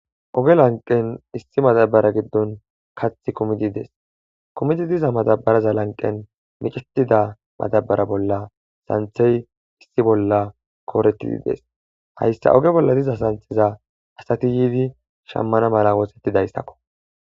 oge lanqen issi matabara giddon kath kumididees kumidi diza matabaraza lanqen micetida matabara bolla santhey issi bolla kooretidi dees hayssa oge bolla diza santheza asati yiidi shammana mala woosettidayssakko